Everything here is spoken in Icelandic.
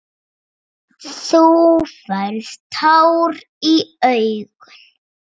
Þú færð tár í augun.